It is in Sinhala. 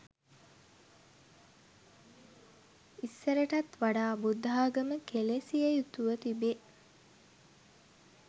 ඉස්සරටත් වඩා බුද්ධාගම කෙළෙසිය යුතුව තිබේ